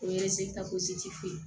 O ye ye